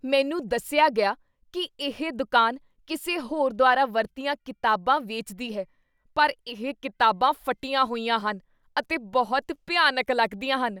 ਮੈਨੂੰ ਦੱਸਿਆ ਗਿਆ ਕੀ ਇਹ ਦੁਕਾਨ ਕਿਸੇ ਹੋਰ ਦੁਆਰਾ ਵਰਤੀਆਂ ਕਿਤਾਬਾਂ ਵੇਚਦੀ ਹੈ ਪਰ ਇਹ ਕਿਤਾਬਾਂ ਫਟੀਆਂ ਹੋਈਆਂ ਹਨ ਅਤੇ ਬਹੁਤ ਭਿਆਨਕ ਲੱਗਦੀਆਂ ਹਨ।